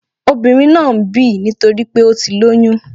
Obìnrin náà ń bì nítorípé ó ti lóyún